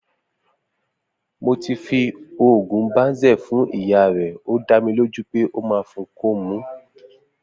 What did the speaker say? Mo ti fi oògùn Banzel fún ìyá re ọ da mí lo ju pẹ ọ ma fún ko mú